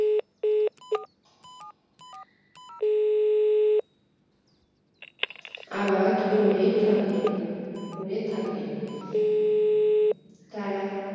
আবাদ করে থাকেন করে থাকে তারা